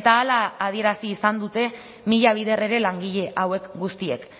eta hala adierazi izan dute mila bider ere langile hauek guztiek